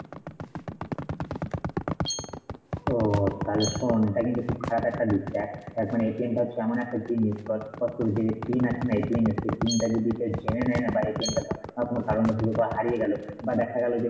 ওহ. তাহলে শোন এটা কিন্তু খুব খারাপ একটা দিক দেখ দেখ মানে টা হচ্ছে এমন একটা জিনিস তোর তোর যে pin আছে না এর সেই pin টা যদি কেউ জেনে নেয় না বা টা ধর কোনো কারণবশত তোর হারিয়ে গেলো বা দেখা গেলো যে,